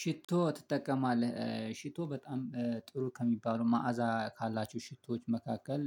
ሽቶ ትጠቀማለህ? ሽቶ በጣም ጥሩ ከሚባሉ መዓዛ ካላችሁ ሽቶዎች መካከል